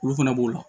Olu fana b'o la